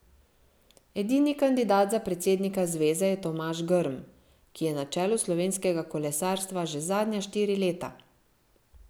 Edini kandidat za predsednika zveze je Tomaž Grm, ki je na čelu slovenskega kolesarstva že zadnja štiri leta.